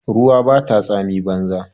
Ruwa bata tsami banza